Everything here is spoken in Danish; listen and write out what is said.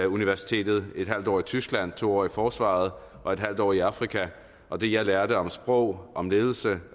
universitetet et halvt år i tyskland to år i forsvaret og et halvt år i afrika og det jeg lærte om sprog om ledelse